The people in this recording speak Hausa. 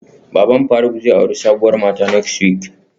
Baban faruk zai auri sabuwar mata next week